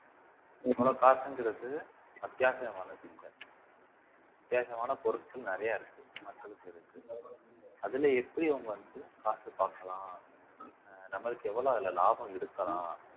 இவ்வளவு காசுங்கிறது அத்தியாவசியமானது வித்தியாசமான பொருட்கள் நிறைய இருக்கு மக்களுக்கு அதுல எப்படி அவங்க வந்து காசு பார்க்கலாம் நம்மளுக்கு எவ்வளவு அதுல லாபம் இருக்கலாம்